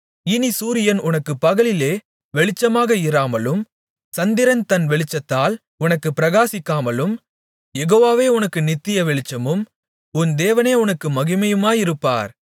இனிச் சூரியன் உனக்குப் பகலிலே வெளிச்சமாக இராமலும் சந்திரன் தன் வெளிச்சத்தால் உனக்குப் பிரகாசிக்காமலும் யெகோவாவே உனக்கு நித்திய வெளிச்சமும் உன் தேவனே உனக்கு மகிமையுமாயிருப்பார்